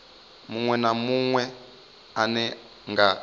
munwe na munwe ane nga